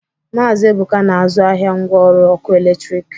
Maazi Ebụka na-azụ ahịa ngwa ọrụ ọkụ eletrik.